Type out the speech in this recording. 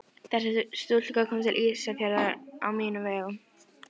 Þessi stúlka kom til Ísafjarðar á mínum vegum.